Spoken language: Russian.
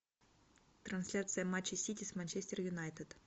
трансляция матча сити с манчестер юнайтед